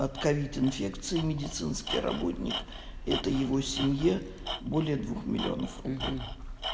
от ковид инфекции медицинский работник это его семье более двух миллионов рублей